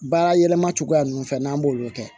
Baara yɛlɛma cogoya ninnu fɛ n'an b'olu kɛ